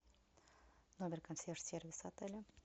номер консьерж сервиса отеля